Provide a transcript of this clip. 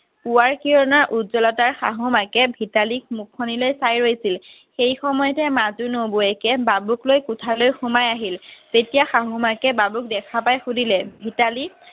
পূৱাৰ কিৰণৰ উজ্জ্বলতাৰ শাহু মাকে ভিতালীৰ মুখখন লৈ চাই ৰইছিল সেই সময়তে মাজু নবৌৱেকে বাবুক লৈ কোঠালৈ সোমাই আহিল তেতিয়া শাহ মাকে বাবুক দেখা পাই সুধিলে ভিতালী